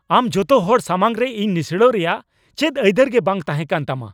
ᱟᱢ ᱡᱚᱛᱚ ᱦᱚᱲ ᱥᱟᱢᱟᱝ ᱨᱮ ᱤᱧ ᱱᱤᱥᱲᱟᱣ ᱨᱮᱭᱟᱜ ᱪᱮᱫ ᱟᱹᱭᱫᱟᱹᱨ ᱜᱮ ᱵᱟᱝ ᱛᱟᱦᱮᱸ ᱠᱟᱱ ᱛᱟᱢᱟ ᱾